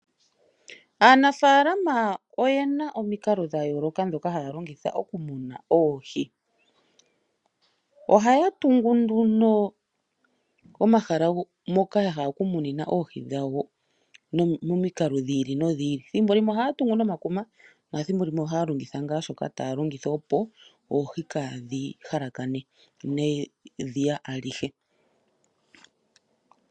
Aanafalama oye na omikalo dha yooloka ndhoka haya longitha okumuna oohi. Ohaya tungu nduno omahala moka ya hala okumunina oohi dhawo momikalo dhi ili nodhi ili. Thimbo limwe ohaya tungu nomakuma nathimbo limwe ohaya longitha ngaa shoka taya longitha, opo oohi kaa dhi halakane nedhiya alihe.